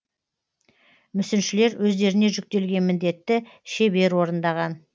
мүсіншілер өздеріне жүктелген міндетті шебер орындаған